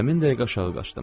Həmin dəqiqə aşağı qaçdım.